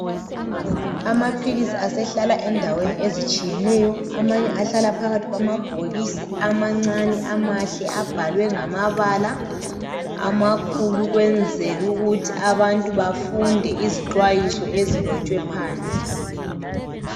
Amaphilisi asehlala endaweni ezitshiyeneyo amanye ahlala phakathi kwamabhokisi amancane amahle abhalwe ngamabala amakhulu ukwenzela ukuthi abantu bafunde izixhwayiso ezilotshwe phandle.